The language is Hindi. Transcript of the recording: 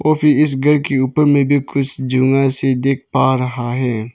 वो भी इस घर के ऊपर में भी कुछ देख पा रहा है।